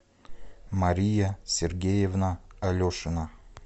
мария сергеевна алешина